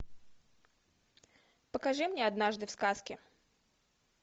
покажи мне однажды в сказке